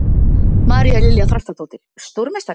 María Lilja Þrastardóttir: Stórmeistari?